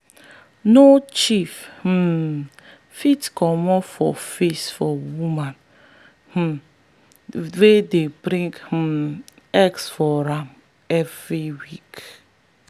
no chief um fit comot for face for woman um wey dey bring um eggs for am every week.